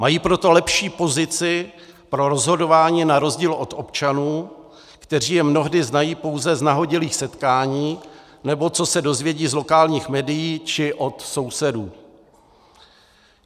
Mají proto lepší pozici pro rozhodování na rozdíl od občanů, kteří je mnohdy znají pouze z nahodilých setkání, nebo co se dozvědí z lokálních médií či od sousedů.